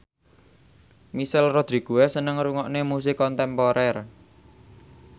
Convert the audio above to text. Michelle Rodriguez seneng ngrungokne musik kontemporer